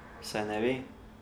Se ne ve.